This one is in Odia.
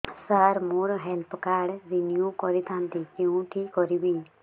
ସାର ମୋର ହେଲ୍ଥ କାର୍ଡ ରିନିଓ କରିଥାନ୍ତି କେଉଁଠି କରିବି